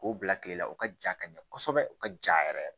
K'o bila kilela u ka ja ka ɲɛ kosɛbɛ u ka ja yɛrɛ yɛrɛ